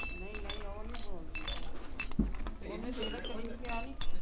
ਨਹੀਂ ਨਹੀਂ ਉਹ ਨਹੀਂ ਬੋਲਦੀ ਉਹ ਓਹਨੇ ਵੇਖ ਲਾ ਕਦੀ ਕਿਹਾ ਨਹੀਂ